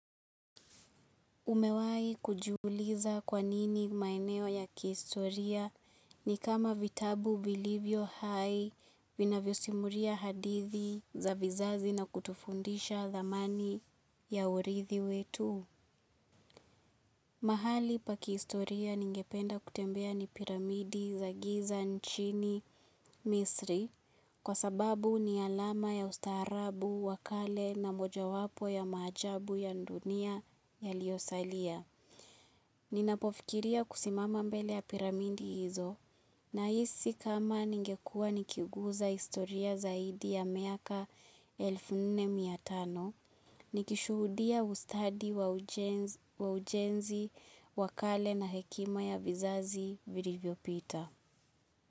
Umewahi kujiuliza kwanini maeneo ya kiistoria ni kama vitabu vilivyohai vinavyosimulia hadithi za vizazi na kutufundisha thamani ya urithi wetu. Mahali pa kiistoria ningependa kutembea ni piramidi za giza nchini misri kwa sababu ni alama ya ustaarabu wakale na mojawapo ya maajabu ya dunia yaliosalia. Ninapofikiria kusimama mbele ya piramidi hizo nahisi kama ningekua nikiguza historia zaidi ya miaka elfu nne mia tano, nikishuhudia ustadi wa ujenzi wakale na hekima ya vizazi vilivyopita.